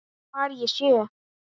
Hvar ég sé.